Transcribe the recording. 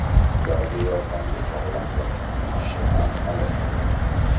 Ularga yordamga chog‘langan ikki kishi ham halok bo‘ldi.